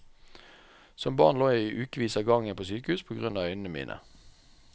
Som barn lå jeg i ukevis av gangen på sykehus på grunn av øynene mine.